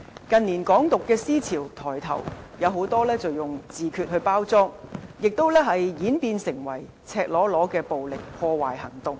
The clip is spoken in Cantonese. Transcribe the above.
近年，"港獨"思潮抬頭，很多時以自決來包裝，並演變為赤裸裸的暴力破壞行動。